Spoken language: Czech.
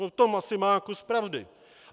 V tom asi má kus pravdy.